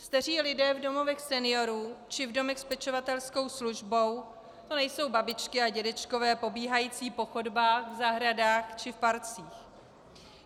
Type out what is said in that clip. Staří lidé v domovech seniorů či v domech s pečovatelskou službou, to nejsou babičky a dědečkové pobíhající po chodbách, v zahradách či v parcích.